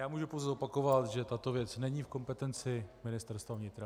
Já mohu pouze zopakovat, že tato věc není v kompetenci Ministerstva vnitra.